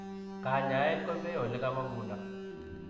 Kanyaeet kopee olekamangundoo .